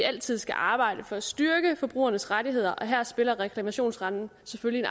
altid skal arbejde for at styrke forbrugernes rettigheder og her spiller reklamationsretten selvfølgelig